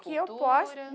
Que eu posso.